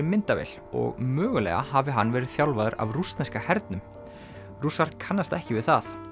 myndavél og mögulega hafi hann verið þjálfaður af rússneska hernum kannast ekki við það